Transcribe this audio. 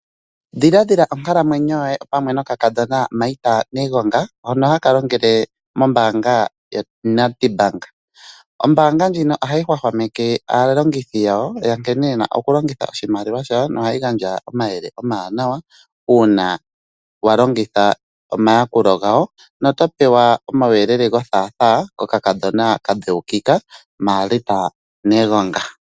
Dhiladhila onkalamwenyo yoye pamwe nokakadhona Marth Negonga hono haka longele mombaanga yoNedbank. Ombaanga ndjino ohayi hwahwameke aalongithi yawo yankene yena okulongitha oshimaliwa shawo nohayi gandja omayele omawanawa uuna wa longitha omayakulo gawo, na oto pewa omauyelele gothaathaa kokakadhona kadheukika Marth Negonga.